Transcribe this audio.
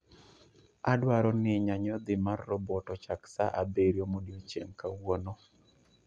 Adwaroni nyanyodhi mar robot ochak saa abiriyo modiechieng' kawuono